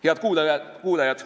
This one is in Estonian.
Head kuulajad!